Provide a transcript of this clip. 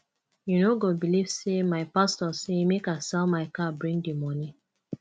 you no go beliv sey my pastor say make i sell my car bring di moni